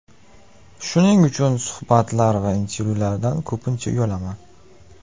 Shuning uchun suhbatlar va intervyulardan ko‘pincha uyalaman.